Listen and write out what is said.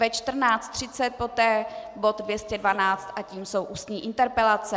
Ve 14.30 poté bod 212 a tím jsou ústní interpelace.